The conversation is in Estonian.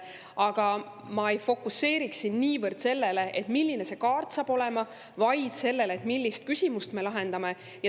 Aga ma ei fokuseeriks siin niivõrd sellele, milline see kaart saab olema, vaid sellele, millist küsimust me lahendame.